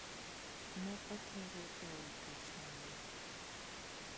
Ne otere e od twech mane?